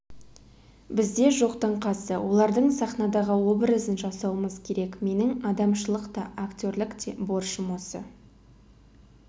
бізде жоқтың қасы олардың сахнадағы образын жасауымыз керек менің адамшылық та актерлік те борышым осы